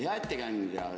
Hea ettekandja!